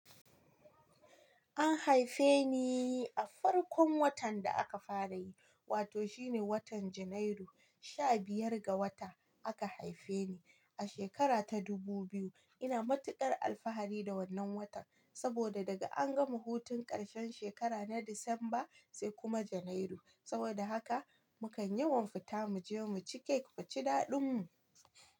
An haife ni a farkon watan da aka fara yi, wato shi ne watan Janairu. Sha Biyar ga wata aka haife ni, a shekara ta dubu biyu. Ina matuƙar alfahari da wannan watan saboda daga an gama hutun ƙarshen shekara na Disamba sai kuma Janairu. Saboda haka mu kan yawan fita mu je mu ci kek muci daɗin mu.